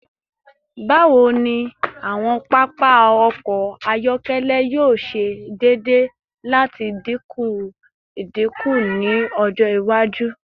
Bawo ni awọn papa ọkọ ayọkẹlẹ yoo ṣe deede lati dinku idinku ni ọjọ iwaju?